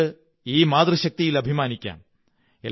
നമ്മുടെ ഈ മാതൃശക്തിയിൽ അഭിമാനിക്കാം